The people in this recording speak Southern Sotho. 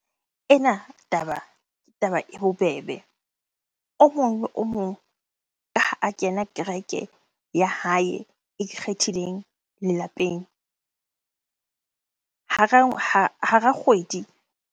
Ena taba, ke taba e bobebe. O mong o mong ha a kena kereke ya hae e ikgethileng lelapeng hara kgwedi.